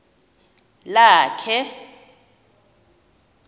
lakhe